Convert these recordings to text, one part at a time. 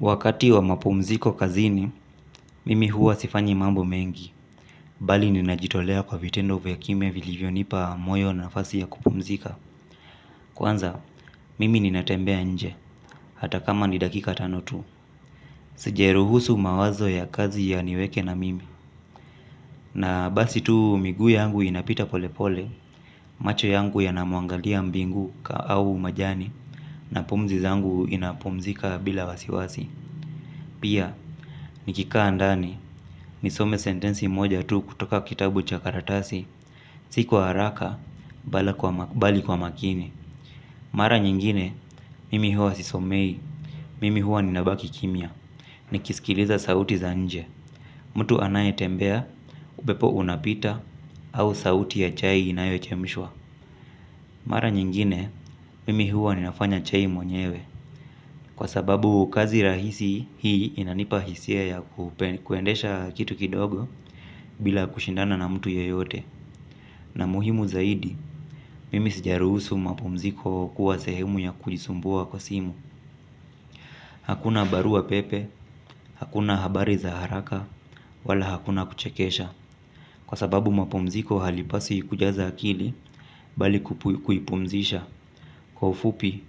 Wakati wa mapumziko kazini, mimi huwa sifanyi mambo mengi. Bali ninajitolea kwa vitendo vya kimya vilivyonipa moyo na nafasi ya kupumzika. Kwanza, mimi ninatembea nje, hata kama ni dakika tano tu. Sijaruhusu mawazo ya kazi yaniweke na mimi. Na basi tu miguu yangu inapita pole pole, macho yangu yanamwangalia mbingu au majani, na pumzi zangu inapumzika bila wasiwasi. Pia, nikikaa ndani, nisome sentensi moja tu kutoka kitabu cha karatasi, si kwa haraka bali kwa makini. Mara nyingine, mimi huwa sisomei, mimi huwa ninabaki kimya, nikisikiliza sauti za nje. Mtu anayetembea, upepo unapita, au sauti ya chai inayochemshwa. Mara nyingine, mimi huwa ninafanya chai mwenyewe. Kwa sababu kazi rahisi hii inanipa hisia ya kuendesha kitu kidogo bila kushindana na mtu yeyote. Na muhimu zaidi, mimi sijaruhusu mapumziko kuwa sehemu ya kujisumbua kwa simu. Hakuna barua pepe, hakuna habari za haraka, wala hakuna kuchekesha. Kwa sababu mapumziko halipaswi kujaza akili bali kuipumzisha. Kwa ufupi,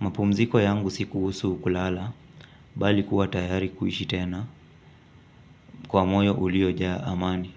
mapumziko yangu si kuhusu kulala bali kuwa tayari kuishi tena. Kwa moyo uliojaa amani.